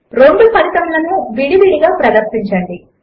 రెండు ఫలితములను విడి విడిగా ప్రదర్శించండి